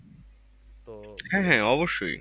হ্যাঁ হ্যাঁ অবশ্যই।